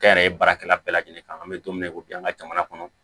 Kɛnyɛrɛye baarakɛla bɛɛ lajɛlen kan an be don min na i ko bi an ka jamana kɔnɔ